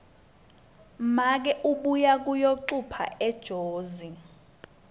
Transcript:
make uye kuyocupha ejozi